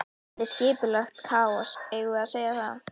Þetta er skipulagt kaos, eigum við ekki að segja það?